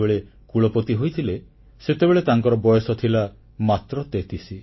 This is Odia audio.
ସେ ଯେତେବେଳେ କୁଳପତି ହୋଇଥିଲେ ସେତେବେଳେ ତାଙ୍କର ବୟସ ଥିଲା ମାତ୍ର 33